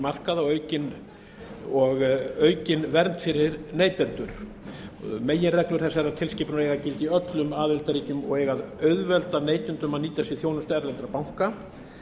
markaða og aukin vernd fyrir neytendur meginreglur þessarar tilskipunar eiga að gilda í öllum aðildarríkjum og eiga að auðvelda neytendum að nýta sér þjónustu erlendra banka